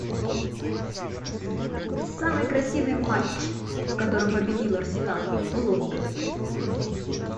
самый красивый матч в котором победил арсенал лондон